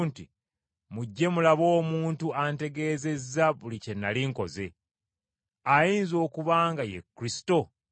“Mujje mulabe omuntu antegeezezza buli kye nnali nkoze. Ayinza okuba nga ye Kristo?”